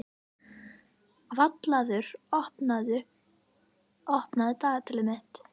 Vallaður, opnaðu dagatalið mitt.